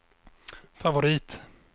favorit